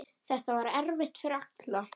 Þetta var erfitt fyrir alla.